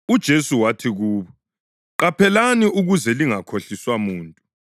UJesu wathi kubo: “Qaphelani ukuze lingakhohliswa muntu.